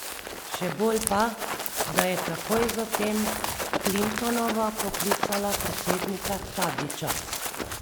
Še bolj pa, da je takoj zatem Clintonova poklicala predsednika Tadića.